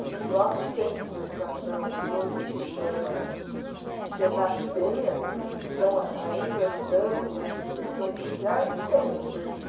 E no próprio centro de educação, que hoje se chama Senac Penha, e que estão ainda lidando com essas questões sociais, tem esse perfil.